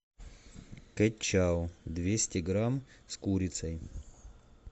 кэт чау двести грамм с курицей